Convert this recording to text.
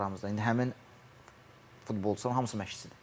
Öz aramızda indi həmin futbolçuların hamısı məşqçidir.